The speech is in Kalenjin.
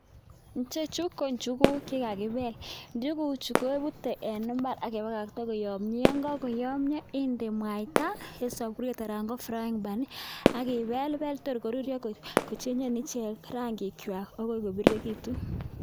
Ichechu ko njuguk che kakipel, njuguchu keputei eng imbaar ak pakakta koyomia, ye kakoyomia inde mwaita eng sapuriet anan eng frying pan aki pelpel tor koruryo kochenchen ichek rangikwai akoi kopirirekitu.